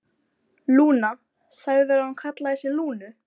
Lúna, sagðirðu að hún kallaði sig Lúnu?